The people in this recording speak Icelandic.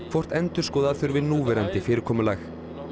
hvort endurskoða þurfi núverandi fyrirkomulag